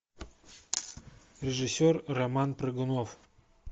режиссер роман прыгунов